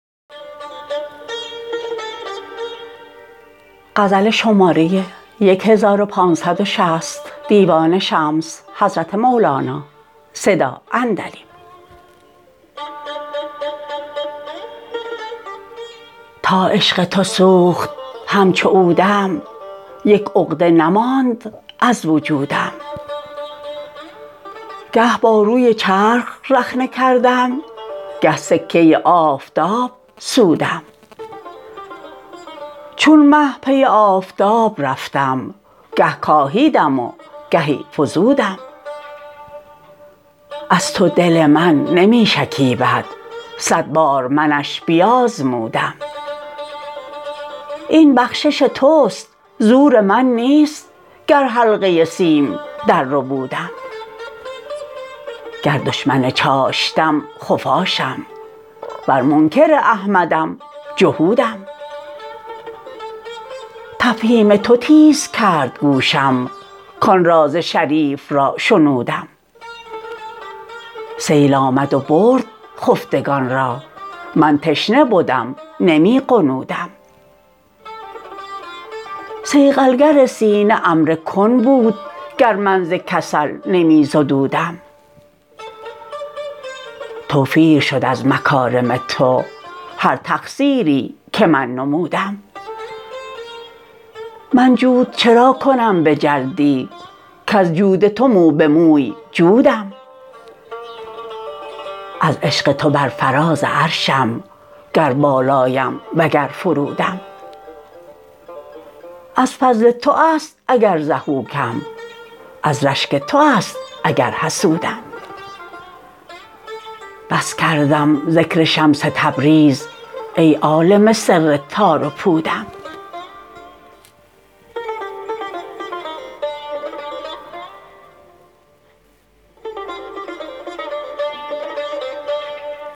تا عشق تو سوخت همچو عودم یک عقده نماند از وجودم گه باروی چرخ رخنه کردم گه سکه آفتاب سودم چون مه پی آفتاب رفتم گه کاهیدم گهی فزودم از تو دل من نمی شکیبد صد بار منش بیازمودم این بخشش توست زور من نیست گر حلقه سیم درربودم گر دشمن چاشتم خفاشم ور منکر احمدم جهودم تفهیم تو تیز کرد گوشم کان راز شریف را شنودم سیل آمد و برد خفتگان را من تشنه بدم نمی غنودم صیقل گر سینه امر کن بود گر من ز کسل نمی زدودم توفیر شد از مکارم تو هر تقصیری که من نمودم من جود چرا کنم به جلدی کز جود تو مو به موی جودم از عشق تو بر فراز عرشم گر بالایم وگر فرودم از فضل تو است اگر ضحوکم از رشک تو است اگر حسودم بس کردم ذکر شمس تبریز ای عالم سر تار و پودم